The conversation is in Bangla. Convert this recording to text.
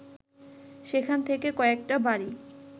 সেখান থেকে কয়েকটা বাড়ি